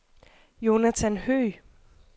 Jonathan Høgh